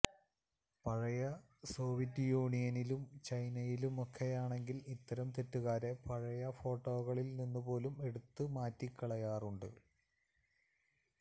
പഴയ സോവിയറ്റ് യൂണിയനിലും ചൈനയിലുമൊക്കെയാണെങ്കില് ഇത്തരം തെറ്റുകാരെ പഴയ ഫോട്ടോകളില് നിന്നുപോലും എടുത്തുമാറ്റിക്കളയാറുണ്ട്